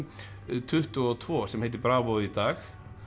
tuttugu og tvö sem heitir Bravo í dag